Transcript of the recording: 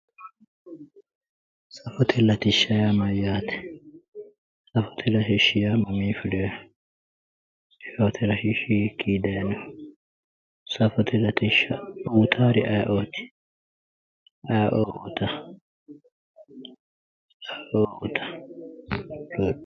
Safote latishsha yaa mayyaate? Safote latishsha yaa mamii fuleeho? Safote latishi hiikii daayiinoho? Safote latishsha uuyitaari ayeeoo uuyitawo?